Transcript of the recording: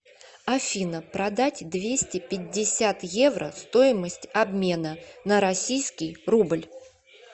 афина продать двести пятьдесят евро стоимость обмена на российский рубль